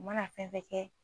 U mana fɛn fɛn kɛ